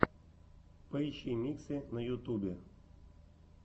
поищи миксы на ютубе